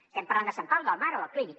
estem parlant de sant pau del mar o del clínic